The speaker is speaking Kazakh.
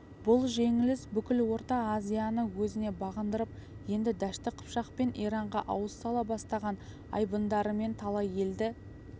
бұл жеңіліс бүкіл орта азияны өзіне бағындырып енді дәшті қыпшақ пен иранға ауыз сала бастаған айбындарымен талай елді